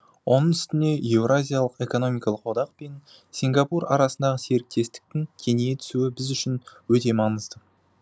оның үстіне еуразиялық экономикалық одақ пен сингапур арасындағы серіктестіктің кеңейе түсуі біз үшін өте маңызды